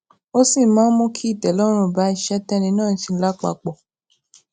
ó sì máa ń mú kí ìtẹlọrun bá iṣé téni náà ń ṣe lápapò